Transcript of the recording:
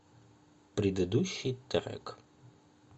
предыдущий трек